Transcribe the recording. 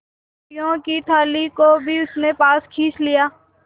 रोटियों की थाली को भी उसने पास खींच लिया